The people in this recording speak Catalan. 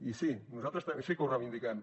i sí nosaltres sí que ho reivindiquem